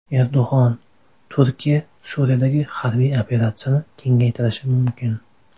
Erdo‘g‘on: Turkiya Suriyadagi harbiy operatsiyani kengaytirishi mumkin.